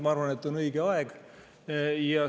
Ma arvan, et on õige aeg.